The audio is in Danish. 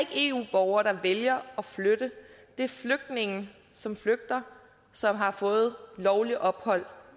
eu borgere der vælger at flytte det er flygtninge som flygter som har fået lovligt ophold